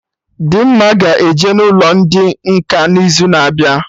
Dimma ga-eje n'ụlọ ndị nkà n'izu na-abịa